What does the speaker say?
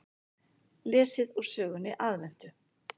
Lesið úr sögunni Aðventu.